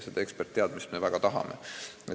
Seda eksperditeadmist me väga tahame.